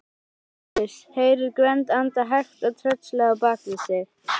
Péturs, heyrir Gvend anda hægt og tröllslega bak við sig.